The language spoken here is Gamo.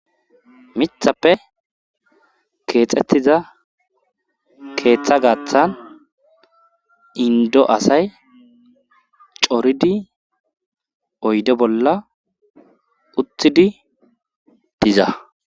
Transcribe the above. mithappe keexxettiza keeththa gaathan indo asay coridi oyde bolla uthidi diza